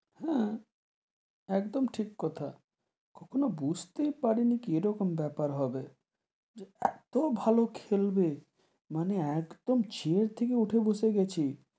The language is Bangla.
হেঁ, একদম ঠিক কথা, কখনো বুঝতে পারি নি কি এরকম বেপার হবে, যে এতো ভালো খেলবে, মানে একদম থেকে উঠে বসে গেছে,